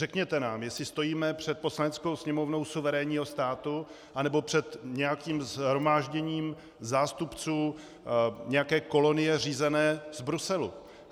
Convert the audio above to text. Řekněte nám, jestli stojíme před Poslaneckou sněmovnou suverénního státu, nebo před nějakým shromážděním zástupců nějaké kolonie řízené z Bruselu.